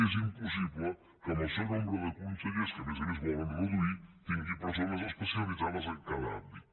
és impossible que amb el seu nombre de con·sellers que a més a més volen reduir tingui persones especialitzades en cada àmbit